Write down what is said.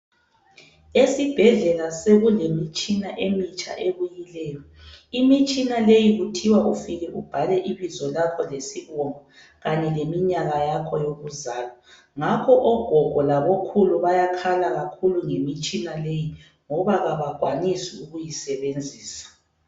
Esibhedlela sekulemitshina emitsha ebuyileyo. Imitshina leyi kuthiwa ufika ubhale ibizo lakho lesibongo kanye leminyaka yakho yokuzalwa. Ngakho ogogo labokhulu bayakhala kakhulu ngemitshina leyi ngoba abakwanisi ukuyisebenzisa.